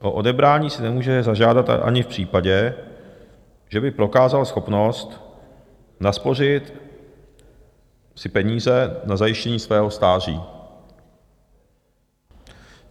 O odebrání si nemůže zažádat ani v případě, že by prokázal schopnost naspořit si peníze na zajištění svého stáří.